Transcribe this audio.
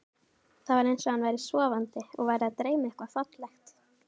Það var eins og hann væri sofandi og væri að dreyma eitthvað fallegt.